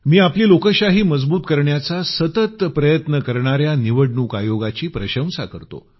मी आपली लोकशाही मजबूत करण्याचा सतत प्रयत्न करणाऱ्या निवडणूक आयोगाची प्रशंसा करतो